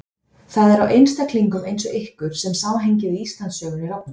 Það er á einstaklingum eins og ykkur sem samhengið í Íslandssögunni rofnar.